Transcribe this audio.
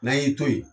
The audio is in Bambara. N'an y'i to yen